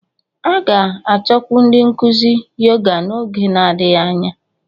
A ga-achọkwu ndị nkuzi Yoga n'oge adịghị anya